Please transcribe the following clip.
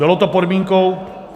Bylo to podmínkou...